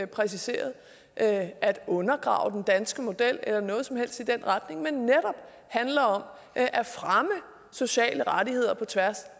præciseret at at undergrave den danske model eller noget som helst i den retning men netop handler om at fremme sociale rettigheder på tværs